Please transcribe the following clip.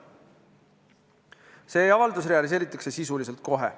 See avaldus realiseeritakse sisuliselt kohe.